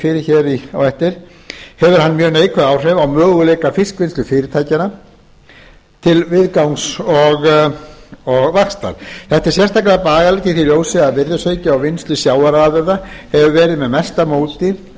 fyrir hér á eftir hefur hann mjög neikvæð áhrif á möguleika fiskvinnslufyrirtækja til viðgangs og vaxtar þetta er sérstaklega bagalegt í því ljósi að virðisauki í vinnslu sjávarafurða hefur verið með mesta móti